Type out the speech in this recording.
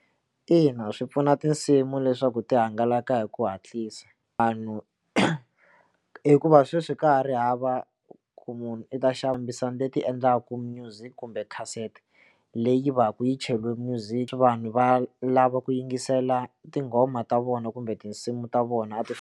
Ina swi pfuna tinsimu leswaku ti hangalaka hi ku hatlisa vanhu hikuva sweswi ka ha ri hava ku munhu i ta xava leti endlaka music kumbe kasete leyi va ka yi cheliwe music vanhu va lava ku yingisela tinghoma ta vona kumbe tinsimu ta vona ti.